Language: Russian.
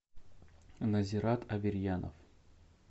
назират аверьянов